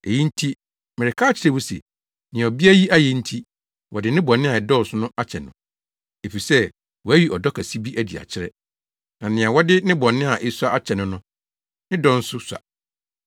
Eyi nti mereka akyerɛ wo se, nea ɔbea yi ayɛ nti, wɔde ne bɔne a ɛdɔɔso no akyɛ no, efisɛ wayi ɔdɔ kɛse bi adi akyerɛ. Na nea wɔde ne bɔne a esua akyɛ no no, ne dɔ nso sua.”